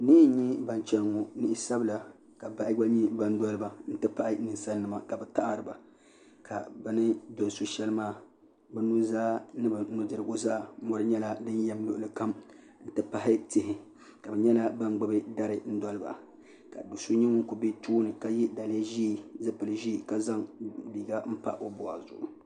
niɣi n nyɛ ban chɛni ŋɔ niɣi sabila ka bahi gba nyɛ ban dɔliba n ti pahi ninsal nima ka bi taɣariba ka bi ni dɔli so shɛli maa bi nuzaa ni bi nudirigu zaa mɔri nyɛla din yɛm luɣuli kam n ti pahi tihi ka bi nyɛla ban gbubi dari dɔliba ka so nyɛ ŋun ku bɛ tooni ka yɛ daliya ʒiɛ zipili ʒiɛ ka zaŋ liiga n pa o bɔɣu zuɣu